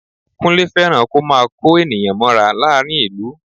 Kúnlé fẹ́ràn kó máa kó ènìyàn mọ́ra láàrín ìlú